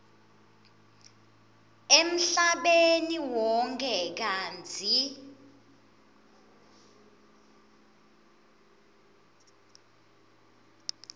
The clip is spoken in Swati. emhlabeni wonkhe kantsi